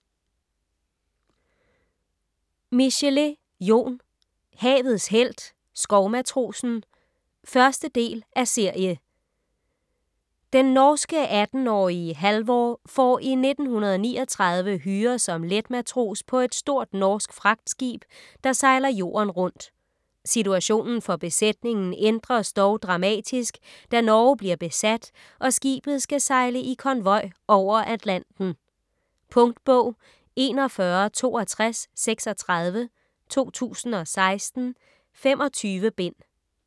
Michelet, Jon: Havets helt - skovmatrosen 1. del af serie. Den norske 18-årige Halvor får i 1939 hyre som letmatros på et stort norsk fragtskib, der sejler jorden rundt. Situationen for besætningen ændres dog dramatisk, da Norge bliver besat og skibet skal sejle i konvoj over Atlanten. Punktbog 416236 2016. 25 bind.